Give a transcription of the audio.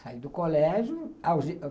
Saí do colégio.